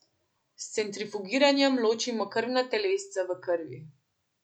S centrifugiranjem ločimo krvna telesca v krvi.